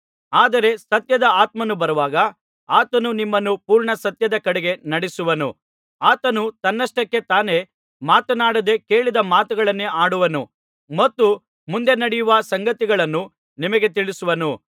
ಆದರೆ ಸತ್ಯದ ಆತ್ಮನು ಬರುವಾಗ ಆತನು ನಿಮ್ಮನ್ನು ಪೂರ್ಣ ಸತ್ಯದ ಕಡೆಗೆ ನಡೆಸುವನು ಆತನು ತನ್ನಷ್ಟಕ್ಕೆ ತಾನೇ ಮಾತನಾಡದೆ ಕೇಳಿದ ಮಾತುಗಳನ್ನೇ ಆಡುವನು ಮತ್ತು ಮುಂದೆ ನಡೆಯುವ ಸಂಗತಿಗಳನ್ನು ನಿಮಗೆ ತಿಳಿಸುವನು